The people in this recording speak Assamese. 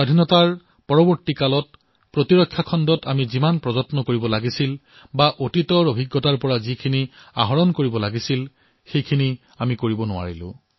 স্বাধীনতাৰ পিছত প্ৰতিৰক্ষা ক্ষেত্ৰত আমি যি প্ৰয়াস কৰিব লাগিছিল সেয়া আমি নকৰিলো